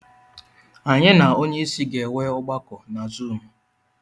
Anyị na onye isi ga-enwe ọgbakọ na Zuumu.